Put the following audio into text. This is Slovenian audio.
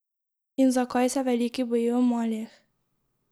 In zakaj se veliki bojijo malih?